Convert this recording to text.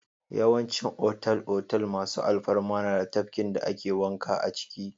Yawancin otal-otal masu alfarma na da tafkin da ake wanka a ciki.